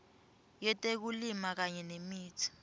yetekulima kanye nemitsi